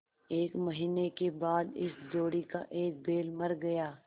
एक महीने के बाद इस जोड़ी का एक बैल मर गया